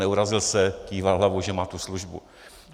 Neurazil se, kýval hlavou, že má tu službu.